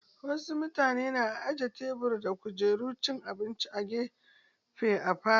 Wasu mutane na aje tebur da kujerun cin abinci a wani gefe a falo.